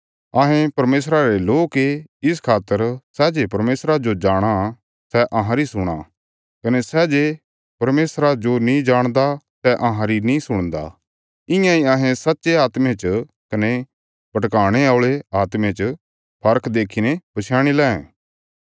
अहें परमेशरा रे लोक ये इस खातर सै जे परमेशरा जो जाणाँ सै अहांरी सुणां कने सै जे परमेशरा जो नीं जाणदा सै अहांरी नीं सुणदा इयां अहें सच्चे आत्मे च कने भटकाणे औल़े आत्मे च फर्क देखीने पछयाणी लैं